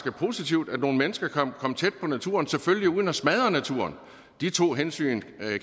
er positivt at nogle mennesker kan komme tæt på naturen selvfølgelig uden at smadre naturen de to hensyn